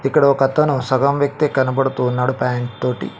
ఇక్కడ ఒక అతను సగం వ్యక్తే కనబడుతూ ఉన్నాడు ప్యాంట్ తోటి.